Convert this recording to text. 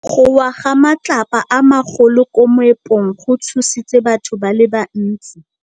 Go wa ga matlapa a magolo ko moepong go tshositse batho ba le bantsi.